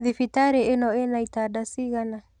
Thibitarĩ ĩno ina itanda cigana?.